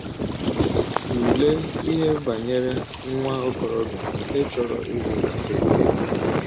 Tụlee ihe banyere nwa okorobịa nke chọrọ ịzụ kaseti egwú.